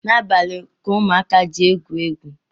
N’abalị ka ụmụaka ji egwu egwu